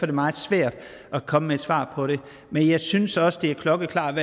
det meget svært at komme med et svar på det men jeg synes også det er klokkeklart